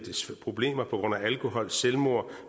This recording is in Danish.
problemer på grund af alkohol selvmord